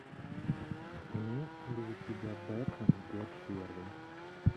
имеется ли у тебя бэтмен год первый